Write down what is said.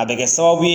A bɛ kɛ sababu ye